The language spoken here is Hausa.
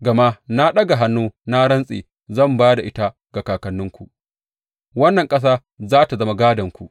Gama na ɗaga hannu na rantse zan ba da ita ga kakanninku, wannan ƙasa za tă zama gādonku.